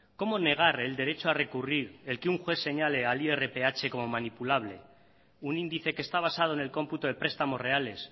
cómo negar el derecho a recurrir el que un juez señale al irph como manipulable un índice que está basado en el cómputo de prestamos reales